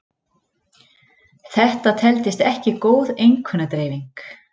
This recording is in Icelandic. Þetta teldist ekki góð einkunnadreifing.